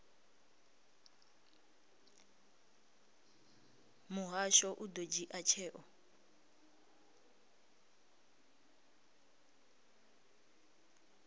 muhasho u ḓo dzhia tsheo